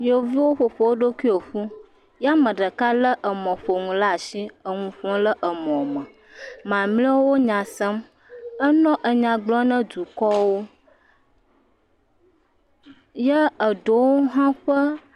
yovuwo ƒoƒo wó ɖokuwo ƒu ye ameɖeka le emɔƒoŋu la asi eŋuƒom le emɔ me mamleawo enya sem enɔ nya gblɔm na dukɔwo ye eɖewo hã ƒe